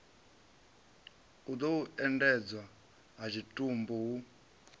u endedzwa ha tshitumbu hu